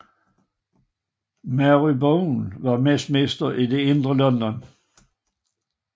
Marylebone ved Westminster i det indre London